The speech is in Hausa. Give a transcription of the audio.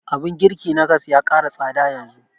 Abun girki na gas ya ƙara tsada yanzu